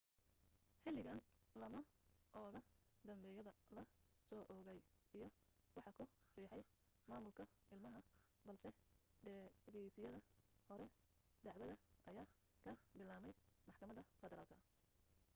xilligan lama oga dembiyada la soo oogay iyo waxa ku riixay maamulka ilmaha balse dhegaysiyada hore dacwada ayaa ka bilaabmay maxkamada federaalka